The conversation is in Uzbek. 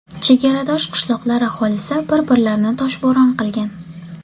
Chegaradosh qishloqlar aholisi bir-birlarini toshbo‘ron qilgan.